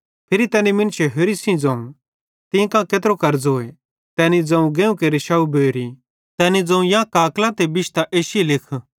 फिरी तैनी मुन्शे होरि सेइं ज़ोवं तीं कां केत्रो कर्ज़ोए तैनी ज़ोवं गेहुं केरि 100 बोरी तैनी ज़ोवं यां काकलां ते बिश्तां 80 लिखी